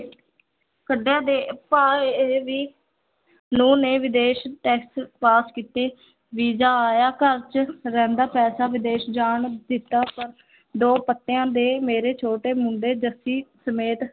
ਕੱਡਿਆ ਦੇ ਭਾਅ ਇਹ ਵੀ ਨੂੰਹ ਨੇ ਵਿਦੇਸ test ਪਾਸ ਕੀਤੇ, ਵੀਜ਼ਾ ਆਇਆ ਘਰ ਚ ਰਹਿੰਦਾ ਪੈਸਾ ਵਿਦੇਸ ਜਾਣ ਦਿੱਤਾ ਪਰ ਦੋ ਪੱਤਿਆਂ ਦੇ ਮੇਰੇ ਛੋਟੇ ਮੁੰਡੇ ਜੱਸੀ ਸਮੇਤ